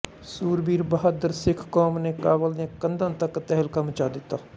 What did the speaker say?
ਸੂਰਬੀਰ ਤੇ ਬਹਾਦਰ ਸਿੱਖ ਕੌਮ ਨੇ ਕਾਬਲ ਦੀਆਂ ਕੰਧਾਂ ਤਕ ਤਹਿਲਕਾ ਮਚਾ ਦਿੱਤਾ